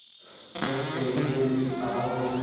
जब तेरी ये जिद्द आग होगी